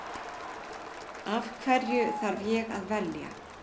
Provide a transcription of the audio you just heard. Af hverju þarf ég að velja?